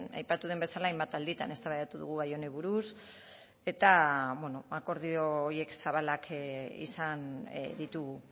aipatu den bezala hainbat alditan eztabaidatu dugu gai honi buruz eta bueno akordio horiek zabalak izan ditugu